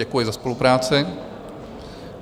Děkuji za spolupráci.